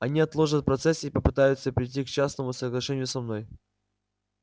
они отложат процесс и попытаются прийти к частному соглашению со мной